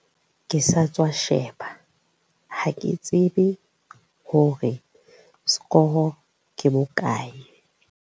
ke sa tswa sheba ha ke tsebe hore sekoro ke bokae